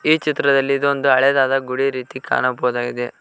ಈ ಚಿತ್ರದಲ್ಲಿ ಇದೊಂದು ಹಳೆದಾದ ಗುಡಿ ರೀತಿ ಕಾಣಬಹುದಾಗಿದೆ.